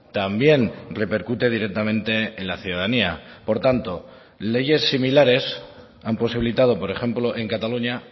también repercute directamente en la ciudadanía por tanto leyes similares han posibilitado por ejemplo en cataluña